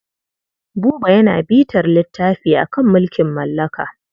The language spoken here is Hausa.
Buba yana bitar littafi a kan mulkin mallaka.